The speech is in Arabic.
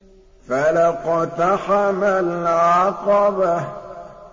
فَلَا اقْتَحَمَ الْعَقَبَةَ